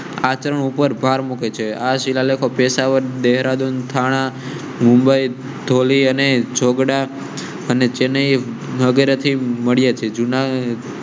આચરણ ઉપર ભાર મુકે છે. આ શિલાલેખો પેશાવર દેહરા, મુંબઈ અને ચેન્નઈ થી મળી હતી. જુના